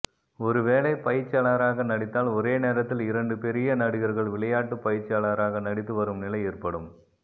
ஒருவேளை பயிற்சியாளராக நடித்தால் ஒரே நேரத்தில் இரண்டு பெரிய நடிகர்கள் விளையாட்டு பயிற்சியாளராக நடித்து வரும் நிலை ஏற்படும்